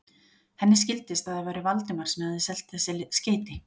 Henni skildist, að það væri Valdimar sem hefði selt þessi skeyti.